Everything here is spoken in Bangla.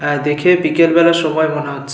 আহ দেখে বিকেল বেলার সময় মনে হচ্ছে।